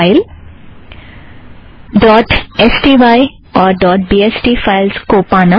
dot S T Y sty और dot B S T BST files को पाना